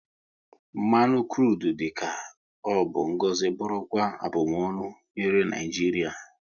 Mmanụ krudu dị ka ọ bụ ngọzi bụrụkwa abumonu nyere Naijiria